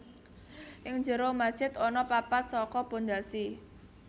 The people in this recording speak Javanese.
Ing jero masjid ana papat saka pondhasi